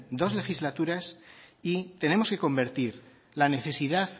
dos legislaturas y tenemos que convertir la necesidad